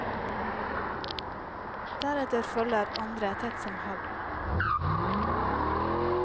Deretter følger andre tett som hagl.